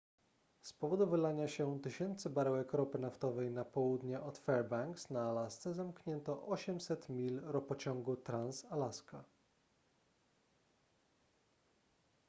z powodu wylania się tysięcy baryłek ropy naftowej na południe od fairbanks na alasce zamknięto 800 mil ropociągu trans-alaska